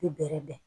Bɛ bɛrɛ bɛn